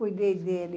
Cuidei dele.